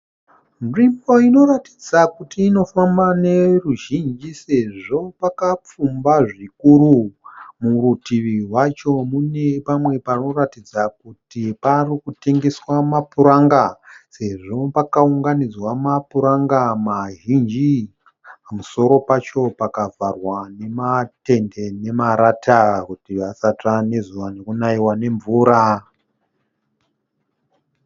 Nzvimbo inoratidza kuti inofamba neruzhinji . Sezvo pakapfumba zvikuru . Murutivi rwacho mune pamwe panoratidza kuti parikutengeswa mapuranga sezvo pakaunganidzwa mapuranga mazhinji . Pamusoro pacho pakavharwa nematende nemarata kuti vasatsva nezuva nekunaiwa nemvura